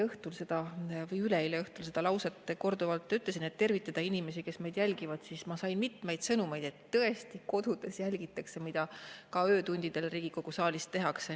Nimelt, kui ma üleeile õhtul seda lauset korduvalt ütlesin, et tervitada inimesi, kes meid jälgivad, sain ma mitmeid sõnumeid, et tõesti ka kodudes jälgitakse, mida öötundidel Riigikogu saalis tehakse.